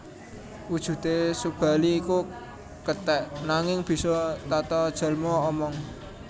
Wujudé Subali iku kethèk nanging bisa tatajalma omong